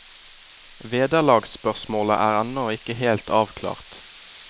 Vederlagsspørsmålet er ennå ikke helt avklart.